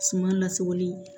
Suma lasagoli